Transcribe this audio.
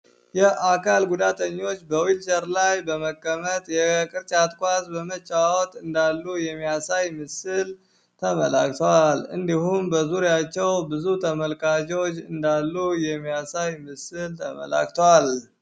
የአካል ጉዳተኞች በዊልቸር ላይ በመቀመጥ የቅርጫት ኳስ እንዳሉ የሚያሳይ ምስል ተበላ በዙሪያቸው ብዙ ተመልካቾች እንዳሉ የሚያሳይ ምስል ተመልክተዋል።